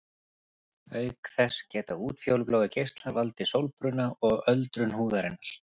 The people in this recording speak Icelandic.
Auk þess geta útfjólubláir geislar valdið sólbruna og öldrun húðarinnar.